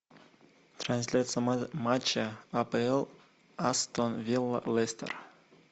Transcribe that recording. трансляция матча апл астон вилла лестер